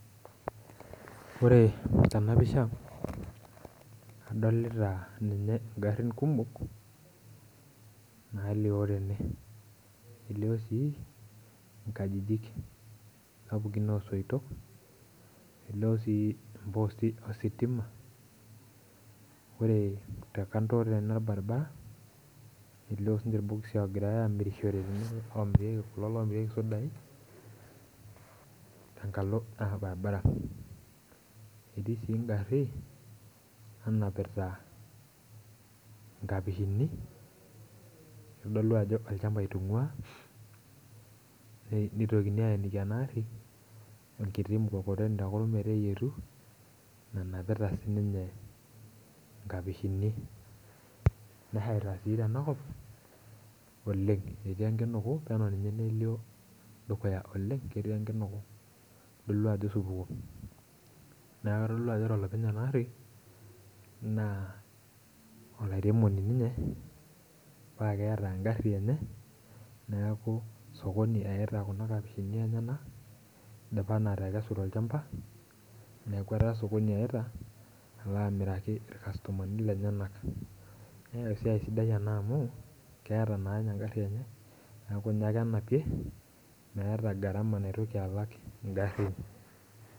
Ore ena pisha adolita garin kumok, nalioo tene. elioo sii nkajijik, sapukin oo soitok. elioo sii posting ositima ore te kando tene olbaribara, elio sii ninye irbokisi oogirae aamirishore. kulo loomirieku sudai tenkalo naa olbaribara. etii sii egari nanapita nkapishini. irodolu ajo, olchampa itungua, nitokini aayeniki ena ari erkiti mkokoteni te kurum, meteyietuu. onapita sii ninye nkapishini. nasheita sii tena kop oleng etii enkinuku, Neto ninye melioo dukuya oleng ketii enkinuku. itodolu ajo osupuko. neeku kitodolu ajo ore olopeny ena ari. naa olairemoni ninye. paa keeta egari enye. neeku sokoni iyita Kuna kapishini enyenak. idipa naa atakesu tolchampa. neeku etaa sokoni eita. alo aamiraki ilkastomani lenyenak. meeta esiai sidai anaa amu keeta naa ninye egari enye. neeku ninye ake enapie. meeta gharama naotoki alo alak igarin.